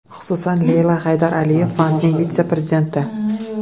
Xususan, Leyla Haydar Aliyev fondining vitse-prezidenti.